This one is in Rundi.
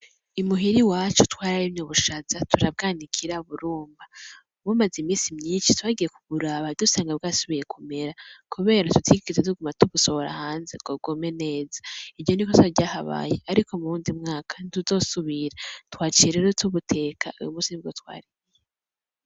Imuhira iwacu twara rimye ubushaza turabwanikira buruma bumaze iminsi myinshi tugiye kuburaba twasanze bwasubiye kumera kubera tutigeze tuguma tubusohora hanze ngo bwume neza iryo n'ikosa ryahabaye ariko muwundi mwaka ntituzosubira twaciye rero tubuteka uyumunsi nibwo twariye